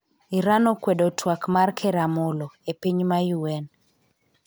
Iran okwedo twak mar ker Amollo, e piny ma UN